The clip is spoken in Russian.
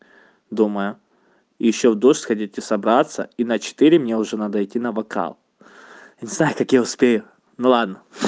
думаю ещё в душ сходить и собраться и на четыре мне уже надо идти на вокал не знаю как я успею ну ладно